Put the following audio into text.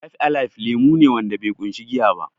Fib alaib lemo ne wanda be ƙunshi giya ba